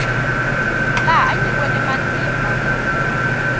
laha a nyikiweke matimba kumbe